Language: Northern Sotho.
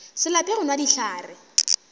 se lape go nwa dihlare